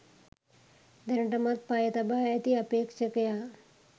දැනටමත් පය තබා ඇති අපේක්ෂකයා